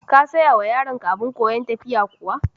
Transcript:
Ka sayawa yaronka abin koyan tafiya kuwa?